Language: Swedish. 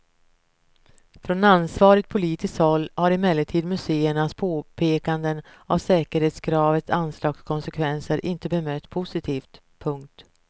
Från ansvarigt politiskt håll har emellertid museernas påpekanden av säkerhetskravens anslagskonsekvenser inte bemötts positivt. punkt